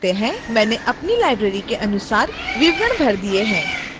मैंने अपनी library के अनुसार विवरण भर दिए हैं